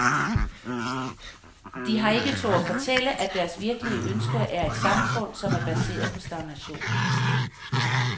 De har ikke turdet fortælle, at deres virkelige ønske er et samfund, som er baseret på stagnation.